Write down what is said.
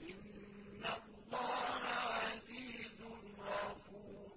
إِنَّ اللَّهَ عَزِيزٌ غَفُورٌ